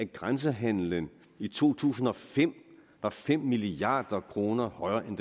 grænsehandelen i to tusind og fem var fem milliard kroner højere end